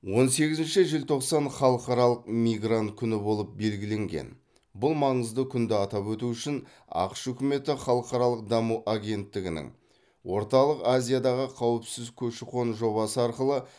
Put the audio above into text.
он сегізінші желтоқсан халықаралық мигрант күні болып белгіленген бұл маңызды күнді атап өту үшін ақш үкіметі халықаралық даму агенттігінің орталық азиядағы қауіпсіз көші қон жобасы арқылы